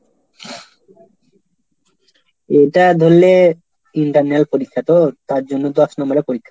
এটা ধরলে internal পরীক্ষা তো? তার জন্য দশ number এর পরীক্ষা।